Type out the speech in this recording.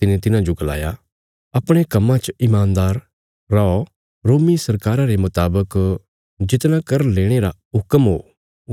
तिने तिन्हाजो गलाया अपणे कम्मां च ईमानदार रौ रोमी सरकारा रे मुतावक जितना कर लेणे रा हुक्म हो